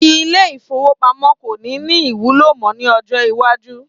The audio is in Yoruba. Ilé ìfowópamó kò ní ní ìwúlò mọ ni ọjọ́ iwájú